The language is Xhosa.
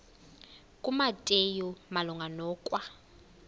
kumateyu malunga nokwa